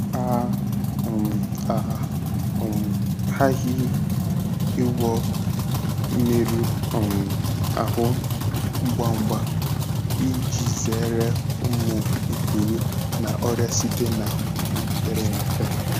A um A um ghaghị ịgwọ mmerụ um ahụ ngwa ngwa iji zere ụmụ ikpuru na ọrịa site na ọnya mepere emepe.